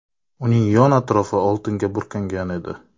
Uning yon-atrofi oltinga burkangan edi.